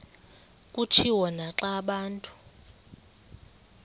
kutshiwo naxa abantu